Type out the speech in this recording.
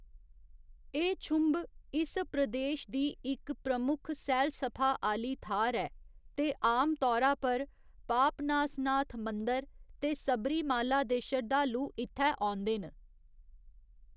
एह्‌‌ छुंभ इस प्रदेश दी इक प्रमुख सैलसफा आह्‌ली थाह्‌‌‌र ऐ ते आमतौरा पर पापनासनाथ मंदर ते सबरीमाला दे शरधालू इत्थै औंदे न।